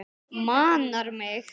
Manar mig.